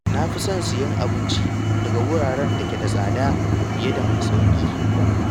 Na fi son sayen abinci daga wuraren da ke da tsada fiye da mai sauƙi.